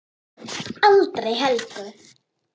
Aldrei Helgu.